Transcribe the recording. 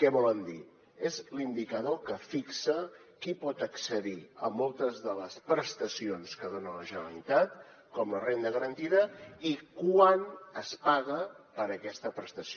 què volen dir és l’indicador que fixa qui pot accedir a moltes de les prestacions que dona la generalitat com la renda garantida i quant es paga per aquesta prestació